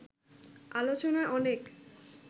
আলোচনা অনেক